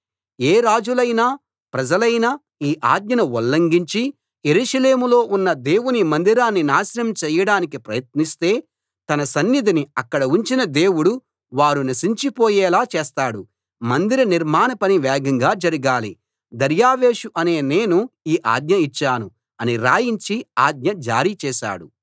ఏ రాజులైనా ప్రజలైనా ఈ ఆజ్ఞను ఉల్లంఘించి యెరూషలేములో ఉన్న దేవుని మందిరాన్ని నాశనం చేయడానికి ప్రయత్నిస్తే తన సన్నిధిని అక్కడ ఉంచిన దేవుడు వారు నశించిపోయేలా చేస్తాడు మందిర నిర్మాణ పని వేగంగా జరగాలి దర్యావేషు అనే నేను ఈ ఆజ్ఞ ఇచ్చాను అని రాయించి ఆజ్ఞ జారీ చేశాడు